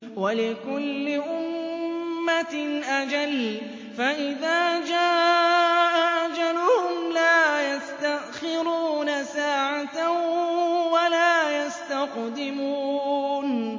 وَلِكُلِّ أُمَّةٍ أَجَلٌ ۖ فَإِذَا جَاءَ أَجَلُهُمْ لَا يَسْتَأْخِرُونَ سَاعَةً ۖ وَلَا يَسْتَقْدِمُونَ